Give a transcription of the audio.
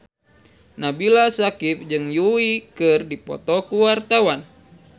Nabila Syakieb jeung Yui keur dipoto ku wartawan